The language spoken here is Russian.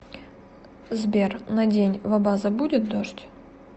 сбер на день в абаза будет дождь